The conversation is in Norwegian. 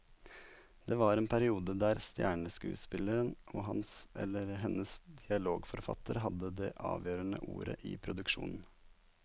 Det var en periode der stjerneskuespilleren og hans eller hennes dialogforfatter hadde det avgjørende ordet i produksjonen.